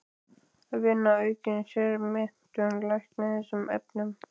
Að vinna að aukinni sérmenntun lækna í þessum efnum.